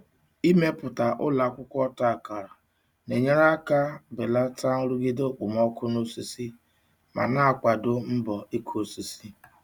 Ịmepụta ụlọ akwụkwọ ọta akara na-enyere aka belata nrụgide okpomọkụ na osisi ma na-akwado mbọ ịkụ osisi.